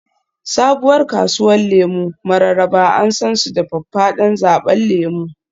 Sabuwar kasuwar lemu Mararaba an san su da faffadan zaɓen lemu